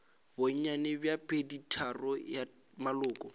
bonnyane bja peditharong ya maloko